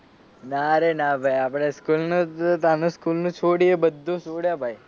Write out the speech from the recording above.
ના રે ના ભાઈ આપડે સ્કૂલ નું હતું ત્યાર નું છોડ્યું એ બધુ છોડ્યું ભાઈ.